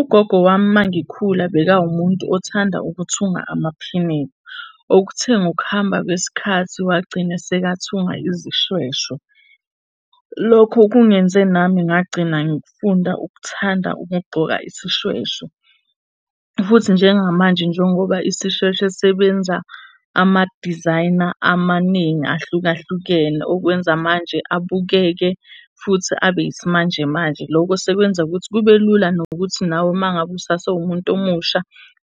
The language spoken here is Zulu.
Ugogo wami uma ngikhula bekawumuntu othanda ukuthunga amaphinifa. Okuthe ngokuhamba kwesikhathi wagcine esekathunga izishweshwe. Lokho kungenze nami ngagcina ngifunda ukuthanda ukugqoka isishweshwe. Futhi njengamanje njengoba isishweshwe sebenza amadizayina amaningi ahlukahlukene okwenza manje abukeke, futhi abe yisimanjemanje. Loko sekwenza ukuthi kube lula nokuthi nawe uma ngabe usase umuntu omusha